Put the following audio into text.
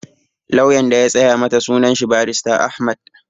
Lauyan da ya tsaya mata sunan shi Barista Ahmed